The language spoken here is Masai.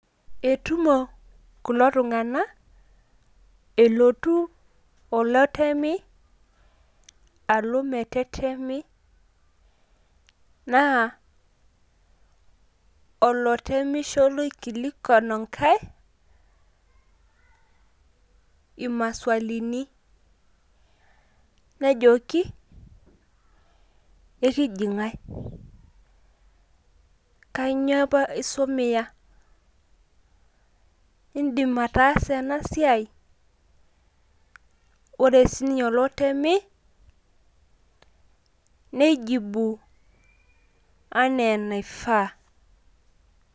Etumo kulo tung`anak elotu oletemi alo metetemi naa olotemisho laikilikua enkae imaswalini nejoki ekiji ng`ae? .Kainyio apa isumiya? Idim ataasa ena siai? Ore sii ninye olotemi neijibu enaa enaifaa.